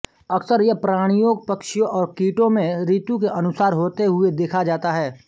अक्सर यह प्राणियों पक्षियों और कीटों में ऋतु के अनुसार होते हुए देखा जाता है